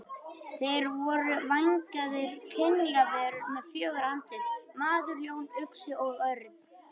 Þeir voru vængjaðar kynjaverur með fjögur andlit: maður, ljón, uxi og örn.